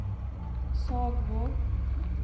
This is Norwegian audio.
Sagvåg